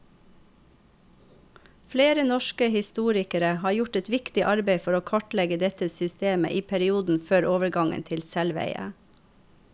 Flere norske historikere har gjort et viktig arbeid for å kartlegge dette systemet i perioden før overgangen til selveie.